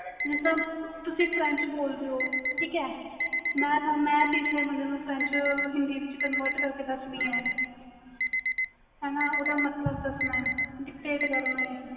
ਜਿਸ ਤਰਾਂ ਤੁਸੀ french ਬੋਲਦੇ ਹੋ ਠੀਕ ਹੈ ਮੈਂ ਤੀਸਰੇ ਬੰਦੇ french ਨੂੰ ਹਿੰਦੀ ਵਿੱਚ convert ਕਰਕੇ ਦਸਣੀ ਏ ਹਾਣਾ ਓਹਦਾ ਮਤਬਲ ਦਸਣਾ ਵ